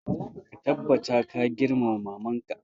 Ka tabbata ka girmama maman ka!